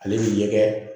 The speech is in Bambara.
Ale ni ɲɛgɛn